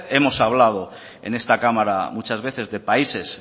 hemos hablado en esta cámara muchas veces de países